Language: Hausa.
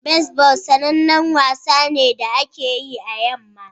Baseball sanannen wasa ne da ake yi a yamma